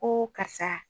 Ko karisa